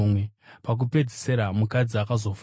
Pakupedzisira mukadzi akazofawo.